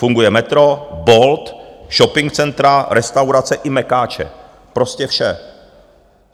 Funguje metro, Bolt, shopping centra, restaurace i mekáče, prostě vše.